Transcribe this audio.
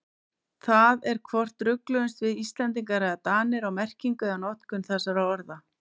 Það er hvort rugluðumst við Íslendingar eða Danir á merkingu eða notkun þessara orða.